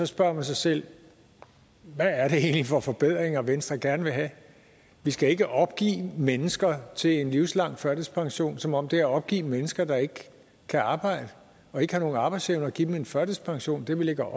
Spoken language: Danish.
spørger man sig selv hvad er det egentlig for forbedringer venstre gerne vil have vi skal ikke opgive mennesker til en livslang førtidspension altså som om det at opgive mennesker der ikke kan arbejde og ikke har nogen arbejdsevne er at give dem en førtidspension det er vel ikke